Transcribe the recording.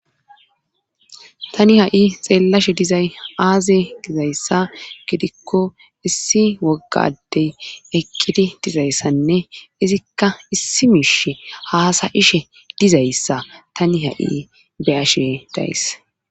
tani ha7i xeellashe dizay aaze gizayssa gidikko issi wogga adey eqqidi dizayssanne izikka issi miishe haasayishe dizayssa tani ha7i beyashe days